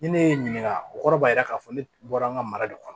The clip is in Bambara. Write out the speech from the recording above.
Ni ne ye n ɲininka o kɔrɔ b'a yira k'a fɔ ne bɔra an ka mara de kɔnɔ